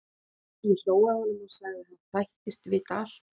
Ég hló að honum og sagði að hann þættist vita allt.